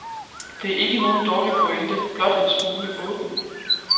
Det er ikke nogen dårlig pointe, blot en smule åben.